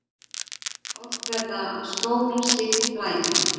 Oft verða skór slíkt blæti.